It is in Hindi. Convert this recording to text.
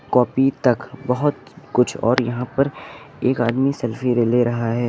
कॉपी तक बहुत कुछ और यहां पर एक आदमी सेल्फी ले रहा है।